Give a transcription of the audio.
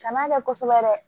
Kana kɛ kosɛbɛ dɛ